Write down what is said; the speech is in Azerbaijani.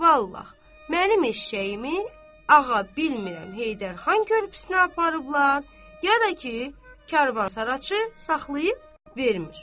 Vallahi, mənim eşşəyimi ağa bilmirəm Heydər xan körpüsünə aparıblar ya da ki, karvansaraçı saxlayıb vermir.